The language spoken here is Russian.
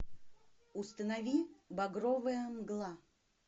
установи багровая мгла